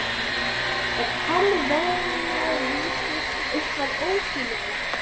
Annað en hálfkveðnar vísur, eitthvað óskiljanlegt.